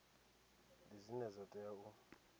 ndi dzine dza tea u